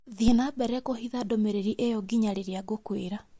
Thiĩ na mbere kũhitha ndũmĩrĩri ĩyo ngina riria ngũkwera.